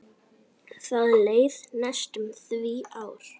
Það leið næstum því ár.